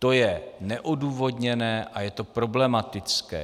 To je neodůvodněné a je to problematické.